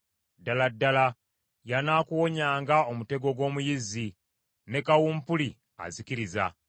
Ddala ddala y’anaakuwonyanga omutego gw’omuyizzi, ne kawumpuli azikiriza.